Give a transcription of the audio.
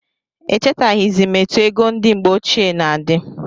Echetaghizi m etụ égo ndị mgbe ochie na-adi